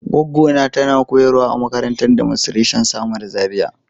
gwaggo na tana koyarwa a makarantan Demonstration samaru, Zaria.